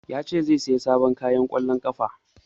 Ya ce zai saya sabon kayan ƙwallon ƙafa